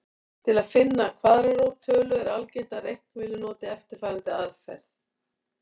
Til að finna kvaðratrót tölu er algengt að reiknivélar noti eftirfarandi aðferð.